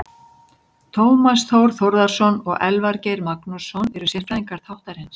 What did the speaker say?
Tómas Þór Þórðarson og Elvar Geir Magnússon eru sérfræðingar þáttarins.